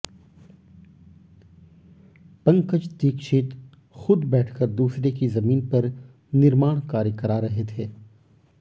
पंकज दीक्षित खुद बैठकर दूसरे की जमीन पर निर्माण कार्य करा रहे थे